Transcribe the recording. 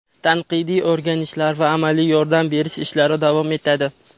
Tanqidiy o‘rganishlar va amaliy yordam berish ishlari davom etadi.